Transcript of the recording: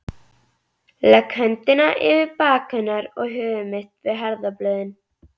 Legg höndina yfir bak hennar og höfuð mitt við herðablöðin.